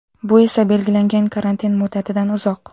Bu esa belgilangan karantin muddatidan uzoq.